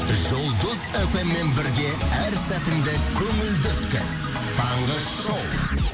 жұлдыз фм мен бірге әр сәтіңді көңілді өткіз таңғы шоу